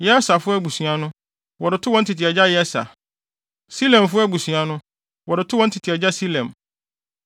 Yeserfo abusua no, wɔde too wɔn tete agya Yeser; Silemfo abusua no, wɔde too wɔn tete agya Silem.